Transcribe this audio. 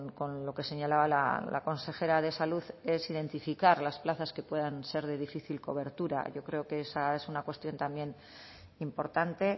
con lo que señalaba la consejera de salud es identificar las plazas que puedan ser de difícil cobertura yo creo que esa es una cuestión también importante